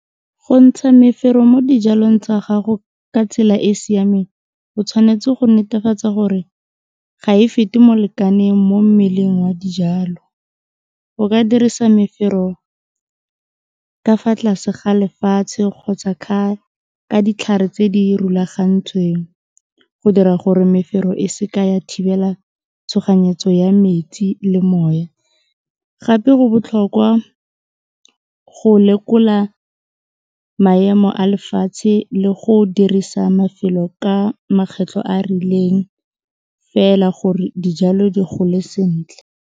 Go ntsha mefero mo dijalong tsa gago ka tsela e siameng o tshwanetse go netefatsa gore ga e fete mo lekaneng mo mmeleng wa dijalo, o ka dirisa mefero ka fa tlase ga lefatshe kgotsa ka ditlhare tse di rulagantsweng go dira gore mefero e se ka ya thibela tshoganyetso ya metsi le moya gape go botlhokwa go lekola maemo a lefatshe le go dirisa mafelo ka makgetlho a rileng fela gore dijalo di gole sentle.